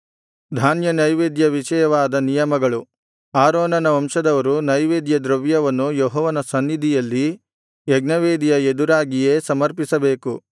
ಧಾನ್ಯನೈವೇದ್ಯ ವಿಷಯವಾದ ನಿಯಮಗಳು ಆರೋನನ ವಂಶದವರು ನೈವೇದ್ಯದ್ರವ್ಯವನ್ನು ಯೆಹೋವನ ಸನ್ನಿಧಿಯಲ್ಲಿ ಯಜ್ಞವೇದಿಯ ಎದುರಾಗಿಯೇ ಸಮರ್ಪಿಸಬೇಕು